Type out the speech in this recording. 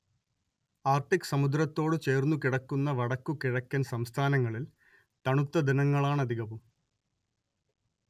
Arctic സമുദ്രത്തോടു ചേർന്നുകിടക്കുന്ന വടക്കു കിഴക്കൻ സംസ്ഥാനങ്ങളിൽ തണുത്ത ദിനങ്ങളാണധികവും